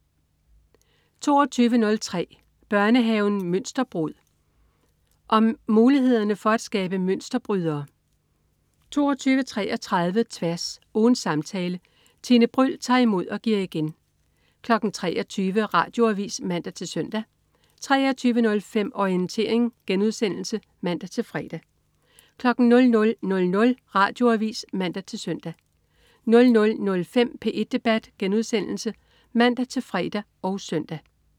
22.03 Børnehaven Mønsterbrud. Om mulighederne for skabe mønsterbrydere 22.33 Tværs. Ugens samtale. Tine Bryld tager imod og giver igen 23.00 Radioavis (man-søn) 23.05 Orientering* (man-fre) 00.00 Radioavis (man-søn) 00.05 P1 debat* (man-fre og søn)